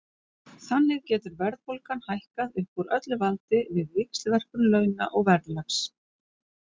Þannig getur verðbólgan hækkað upp úr öllu valdi við víxlverkun launa og verðlags.